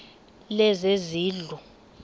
lezezindlu